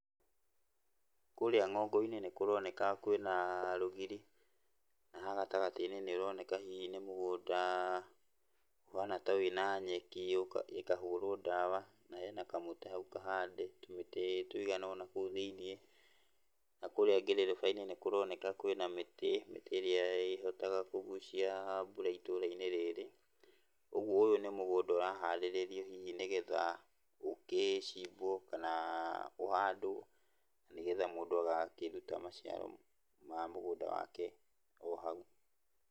Kũrĩa ng'ongo-inĩ nĩkũroneka kwĩna rũgiri, na haha gatagatĩ-inĩ nĩũroneka hihi nĩ mũgũnda ũhana ta wĩna nyeki ũka, ĩkahũrwo ndawa, na hena kamũtĩ hau kahande, tũmĩtĩ tũigana ũna kũũ thĩiniĩ, na kũrĩa ngĩrĩrĩba-inĩ nĩkũroneka kwĩna mĩtĩ, mĩtĩ ĩrĩa ĩhotaga kũgucia mbura itũũra-inĩ rĩrĩ. Ũgwo ũyũ nĩ mũgũnda ũraharĩrĩrio hihi nĩgetha ũkĩcimbwo kana ũhandwo, na nĩgetha mũndũ agaakĩruta maciaro ma mũgũnda wake o hau.